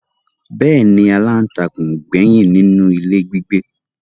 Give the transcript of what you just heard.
Bẹ́ẹ̀ ni aláǹtakûn ò gbẹ́yìn nínú ilé gbígbé